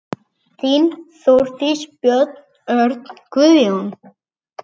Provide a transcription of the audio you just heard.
Þín, Þórdís, Björn, Örn, Guðjón.